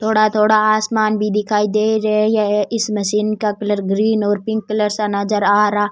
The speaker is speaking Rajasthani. थोड़ा थोड़ा आसमान भी दिखाई दे रही है इस मशीन का कलर ग्रीन और पिंक कलर नजर आ रहा।